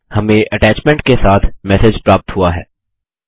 हमें अटैच्मेंट के साथ मैसेज प्राप्त हुआ है